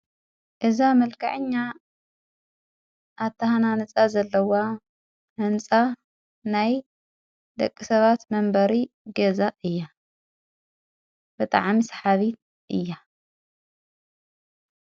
እዛ መልካዕኛ ኣታህናንጻ ዘለዋ ሕንፃ ናይ ደቂ ሰባት መንበሪ ጌዛ እያ ብጥዓም ስሓቢት እያ::